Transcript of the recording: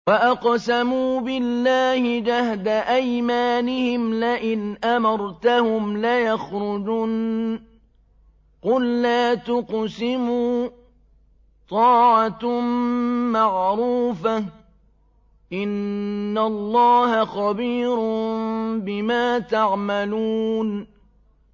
۞ وَأَقْسَمُوا بِاللَّهِ جَهْدَ أَيْمَانِهِمْ لَئِنْ أَمَرْتَهُمْ لَيَخْرُجُنَّ ۖ قُل لَّا تُقْسِمُوا ۖ طَاعَةٌ مَّعْرُوفَةٌ ۚ إِنَّ اللَّهَ خَبِيرٌ بِمَا تَعْمَلُونَ